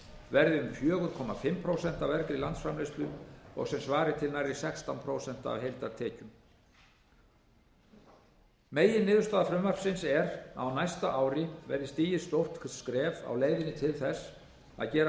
verði um fjögur og hálft prósent af vergri landsframleiðslu sem svarar til nærri sextán prósent af heildartekjum meginniðurstaða frumvarpsins er að á næsta ári verði stigið stórt skref á leiðinni til þess að gera